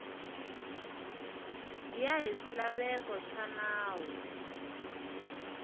ya hi swilaveko swa nawu